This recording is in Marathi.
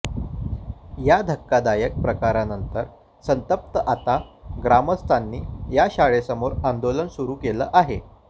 या धक्कादायक प्रकारानंतर संतप्त आता ग्रामस्थांनी या शाळेसमोर आंदोलन सुरु केलं आहे